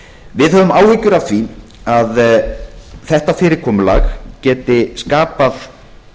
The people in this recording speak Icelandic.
við höfum áhyggjur af því að þetta fyrirkomulag geti skapað